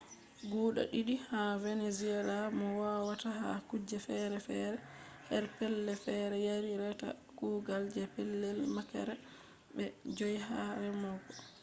guda didi ha venezuelans mo howata ha kuje fere-fere her pellei fere yari reta kugal je pellel makera be je 5 ha remogo